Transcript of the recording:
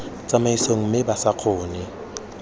tsamaisong mme ba sa kgone